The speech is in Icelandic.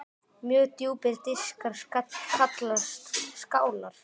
Mjög djúpir diskar kallast skálar.